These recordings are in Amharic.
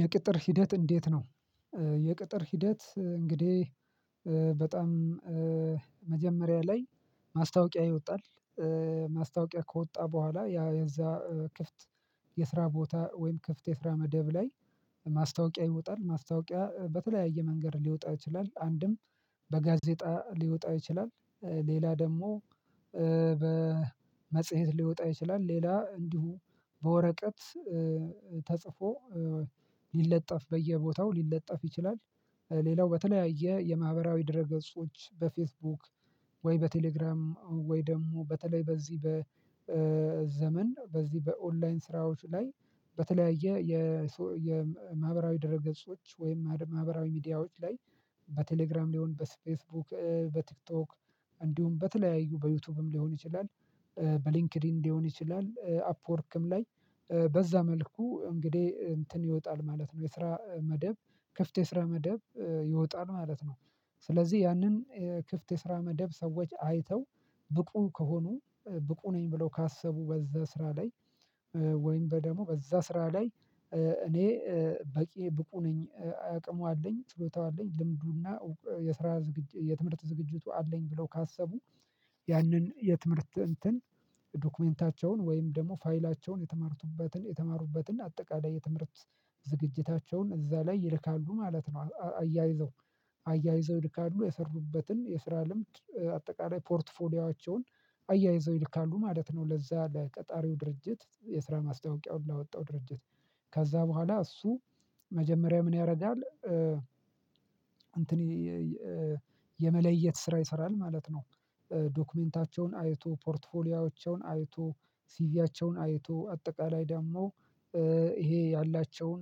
የቅጥር ሂደት እንዴት ነው? የቅጥር ሂደት እንግዲህ በጣም መጀመሪያ ላይ ማስታወቂያ ይወጣል። ማስታወቂያ ከወጣ በኋላ ያ የዛ ክፍት የስራ ቦታ ወይም ክፍት የስራ መደብ ላይ ማስታወቂያ ይወጣል ማስታወቂያ በተለያየ መንገድ ሊወጣ ይችላል አንድም በጋዜጣ ሊወጣ ይችላል። ሌላ ደግሞ በመጽሄት ሊወጣ ይችላል ሌላ እንዲሁ በወረቀት ተጽፎ ሊለጠፍ በየቦታው ሊለጠፍ ይችላል። ሌላው በተለያየ የማህበራዊ ድረ ገጾች በፌስቡክ ወይ በቴሌግራም ወይ ደግሞ በተለይ በዚህ በዘመን በዚህ በኦንላይን ስራዎች ላይ በተለያየ የማህበራዊ ድረገጾች ወይም ማህበራዊ ሚዲያዎች ላይ በቴሌግራም ሊሆን በስፌስ ቡክ በቲክቶክ እንዲሁም በተለያዩ በዩቲዩብም ሊሆን ይችላል። በሊንክድኢን ሊሆን ይችላል አፕወርክም ላይ በዛ መልኩ እንግዲህ እንትን ይወጣል ማለት ነው የስራ መደብ ክፍት የስራ መደብ ይወጣል ማለት ነው። ስለዚህ ያንን ክፍት የስራ መደብ ሰዎች አይተው ብቁ ከሆኑ ብቁ ነኝ ብለው ካሰቡ በዛ ስራ ላይ ወይም በደግሞ በዛ ስራ ላይ እኔ በቂ ብቁ ነኝ አቅሙ አለኝ ችሎታው አለኝ ልምዱ እና የስራ ዝግጅ የትምህርት ዝግጅቱ አለኝ ብለው ካሰቡ ያንን የትምህርት እንትን ዶክመንታቸውን ወይም ደግሞ ፋይላቸውን የተማሩበትን የተማሩበትን አጠቃላይ የትምህርት ዝግጅታቸውን እዛ ላይ ይልካሉ ማለት ነው። አያይዘው አያይዘው ይልካሉ የሰሩበትን የስራ ልምድ አጠቃላይ ፖርትፎሊዮአቸውን አያይዘው ይልካሉ ማለት ነው። ለዛ ለቀጣሪው ድርጅት የስራ ማስታወቂያውን ላወጣው ድርጅት ከዛ በኋላ እሱ መጀመሪያ ምን ያደርጋል እንትኔ የመለየት ስራ ይሰራል ማለት ነው። ዶክመንታቸውን አይቶ ፖርትፎሊዮአቸውን አይቶ ሲቪያቸውን አይቶ አጠቃላይ ደግሞ ይሄ ያላቸውን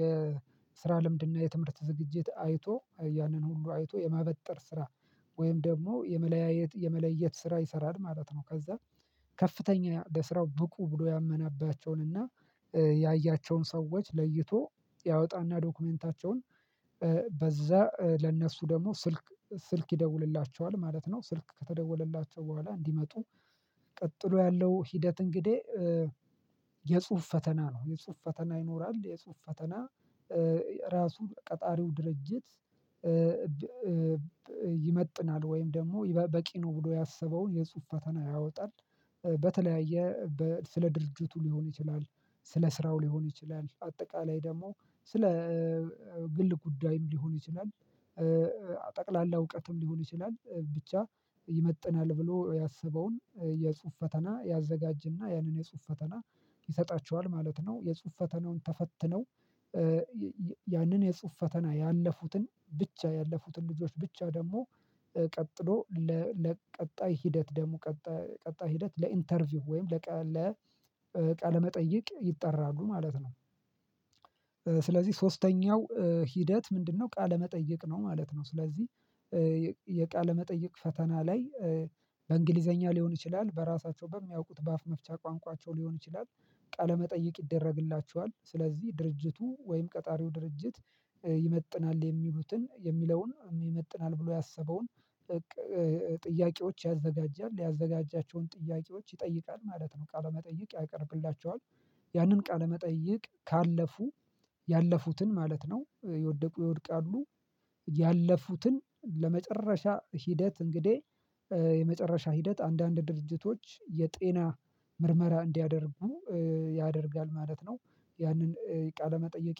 የስራ ልምድ እና የትምህርት ዝግጅት አይቶ ያንን ሁሉ አይቶ የማበጠር ስራ ወይም ደግሞ የመለያየት የመለየት ስራ ይሰራል ማለት ነው። ከዛ ከፍተኛ ለስራው ብቁ ብሎ ያመነባቸውን እና ያያቸውን ሰዎች ለይቶ ያወጣ እና ዶክመንታቸውን በዛ ለነሱ ደግሞ ስልክ ስልክ ይደውልላቸዋል ማለት ነው። ስልክ ከተደወለላቸው በኋላ እንዲመጡ ቀጥሎ ያለው ሂደት እንግዲህ የጽሁፍ ፈተና ነው የጽሁፍ ፈተና ይኖራል የጽሁፍ ፈተና ራሱ ቀጣሪው ድርጅት ይመጥናል ወይም ደግሞ በቂ ነው ብሎ ያሰበውን የጽሁፍ ፈተና ያወጣል። በተለያየ ስለ ድርጅቱ ሊሆን ይችላል ስለ ስራው ሊሆን ይችላል አጠቃላይ ደግሞ ስለ ግል ጉዳይም ሊሆን ይችላል ጠቅላላ እውቀትም ሊሆን ይችላል ብቻ ይመጥናል ብሎ ያሰበውን የጽሁፍ ፈተና ያዘጋጅ እና ያንን የጽሁፍ ፈተና ይሰጣቸዋል ማለት ነው። የጽሁፍ ፈተናውን ተፈትነው ያንን የጽሁፍ ፈተና ያለፉትን ብቻ ያለፉትን ልጆች ብቻ ደግሞ ቀጥሎ ለቀጣይ ሂደት ደሞ ቀጣይ ሂደት ለኢንተርቪው ወይም ለቀለ ለቃለመጠይቅ ይጠራሉ ማለት ነው። ስለዚህ ሶስተኛው ሂደት ምንድነው ቃለ መጠይቅ ነው ማለት ነው? ስለዚህ የቃለ መጠየቅ ፈተና ላይ በእንግሊዘኛ ሊሆን ይችላል በራሳቸው በሚያውቁት በአፍ መፍቻ ቋንቋቸው ሊሆን ይችላል ቃለ መጠየቅ ይደረግላቸዋል ስለዚህ ድርጅቱ ወይም ቀጣሪው ድርጅት ይመጥናል የሚሉትን የሚለውን ይመጥናል ብሎ ያሰበውን ጥያቄዎች ያዘጋጃል ያዘጋጃቸውን ጥያቄዎች ይጠይቃል ማለት ነው። ቃለመጠየቅ ያቀርብላቸዋል ያንን ቃለመጠየቅ ካለፉ ያለፉትን ማለት ነው። የወደቁ ይወድቃሉ ያለፉትን ለመጨረሻ ሂደት እንግዲህ የመጨረሻ ሂደት አንዳንድ ድርጅቶች የጤና ምርመራ እንዲያደርጉ ያደርጋል ማለት ነው። ያንን ቃለመጠይቅ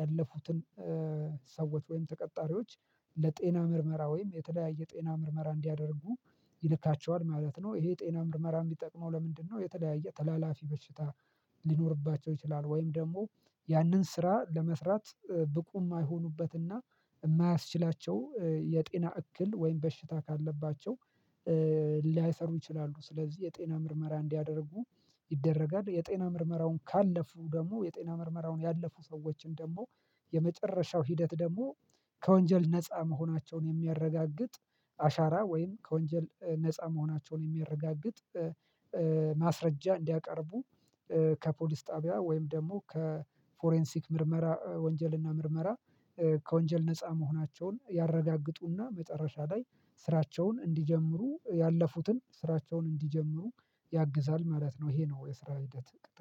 ያለፉትን ሰዎች ወይም ተቀጣሪዎች ለጤና ምርመራ ወይም የተለያየ ጤና ምርመራ እንዲያደርጉ ይልካቸዋል ማለት ነው። ይሄ ጤና ምርመራ የሚጠቅመው ለምንድነው የተለያየ ተላላፊ በሽታ ሊኖርባቸው ይችላል ወይም ደግሞ ያንን ስራ ለመስራት ብቁ የማይሆኑበት እና የማያስችላቸው የጤና እክል ወይም በሽታ ካለባቸው ላያሰሩ ይችላሉ። ስለዚህ የጤና ምርመራ እንዲያደርጉ ይደረጋል የጤና ምርመራውን ካለፉ ደግሞ የጤና ምርመራውን ያለፉ ሰዎችን ደግሞ የመጨረሻው ሂደት ደግሞ ከወንጀል ነፃ መሆናቸውን የሚያረጋግጥ አሻራ ወይም ከወንጀል ነፃ መሆናቸውን የሚያረጋግጥ ማስረጃ እንዲያቀርቡ ከፖሊስ ጣቢያ ወይም ደግሞ ከፎሬንሲክ ምርመራ ወንጀል እና ምርመራ ከወንጀል ነፃ መሆናቸውን ያረጋግጡ እና መጨረሻ ላይ ስራቸውን እንዲጀምሩ ያለፉትን ስራቸውን እንዲጀምሩ ያግዛል ማለት ነው። ይሄ ነው የስራ ሂደት ቅጥር